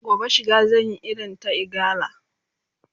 gobe shiga zan Yi irin ta gara